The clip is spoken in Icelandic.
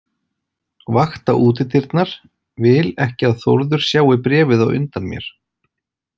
Vakta útidyrnar, vil ekki að Þórður sjái bréfið á undan mér.